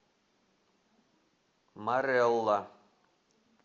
марэлла